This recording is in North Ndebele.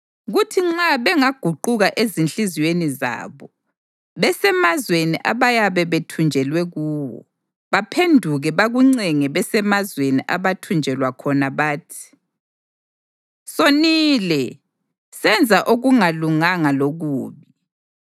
kuthi nxa bengaguquka ezinhliziyweni zabo besemazweni abayabe bethunjelwe kuwo, baphenduke bakuncenge besemazweni abathunjelwa khona bathi, ‘Sonile, senza okungalunganga lokubi,’